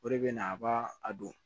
O de bɛ na a b'a a don